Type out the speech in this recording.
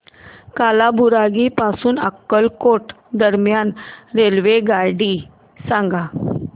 कालाबुरागी पासून अक्कलकोट दरम्यान रेल्वेगाडी सांगा